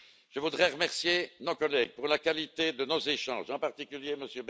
Je voudrais remercier nos collègues pour la qualité de nos échanges, en particulier M.